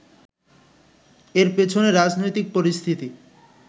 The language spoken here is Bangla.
এর পেছনে রাজনৈতিক পরিস্থিতি